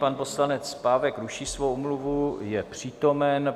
Pan poslanec Pávek ruší svoji omluvu, je přítomen.